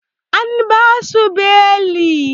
An basu beli